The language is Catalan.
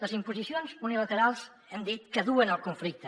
les imposicions unilaterals hem dit que duen el conflicte